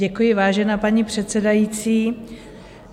Děkuji, vážená paní předsedající.